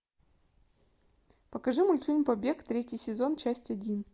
покажи мультфильм побег третий сезон часть один